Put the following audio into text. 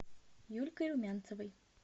юлькой румянцевой